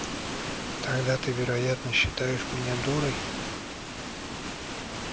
тогда ты вероятно считаешь меня дурой